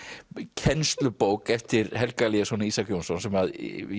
kennslubók eftir Helga Elíasson og Ísak Jónsson sem